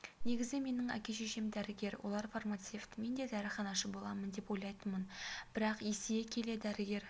негізі менің әке-шешем дәрігер олар фармацевт мен де дәріханашы боламын деп ойлайтынмын бірақ есейе келе дәрігер